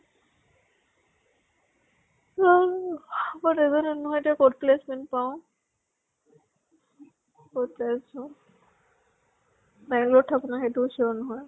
Yam মই নাজানো নহয় এতিয়া কʼত placement পাওঁ। বহুত tension বাঙ্গালৰত থাকো নে সেইটোও sure নহয়।